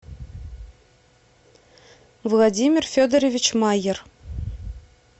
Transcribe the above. владимир федорович майер